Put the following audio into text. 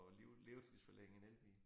At liv livsforlænge en elbil